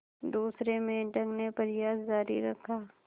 दूसरे मेंढक ने प्रयास जारी रखा